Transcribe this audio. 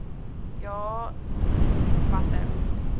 ja i watter